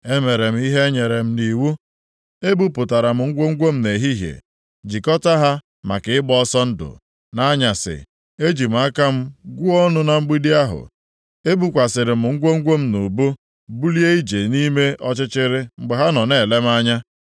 Emere m ihe e nyere m nʼiwu. Ebupụtara m ngwongwo m nʼehihie, jikọta ha maka ịgba ọsọ ndụ. Nʼanyasị, eji m aka m gwuo ọnụ na mgbidi ahụ. Ebukwasịrị m ngwongwo m nʼubu, bulie ije nʼime ọchịchịrị mgbe ha nọ na-ele m anya.